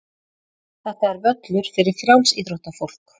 Þetta er völlur fyrir frjálsíþróttafólk.